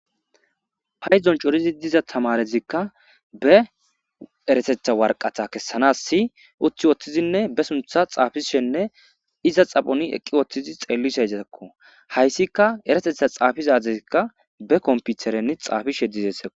Paydon c'oridi diza tamarezika be erateta waraqata kesanasi uti wotidinne be sunta xafishenne iza xaphon eqiwotizi xelishe haysika erateta xafiza adezika be kompiteren xafishe dizesiko.